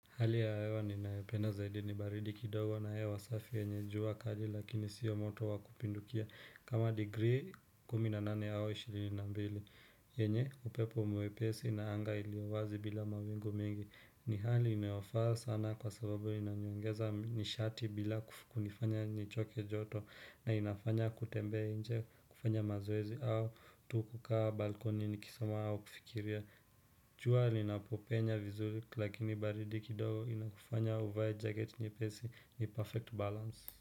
Hali ya hewa ninayopenda zaidi ni baridi kidogo na hewa wasafi yenye jua kali lakini siyo moto wa kupindukia, kama degree kumi na nane au ishirini na mbili. Yenye upepo mwepesi na anga iliyo wazi bila mawingu mengi. Ni hali inayofaa sana kwa sababu inaniongeza nishati bila kunifanya nichoke joto na inafanya kutembea nje kufanya mazoezi au tu kukaa balkoni nikisoma au kufikiria. Jua linapopenya vizuri lakini baridi kidogo inakufanya uvae jacket nyepesi. Ni perfect balance.